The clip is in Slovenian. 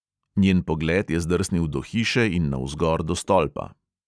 Njen pogled je zdrsnil do hiše in navzgor do stolpa.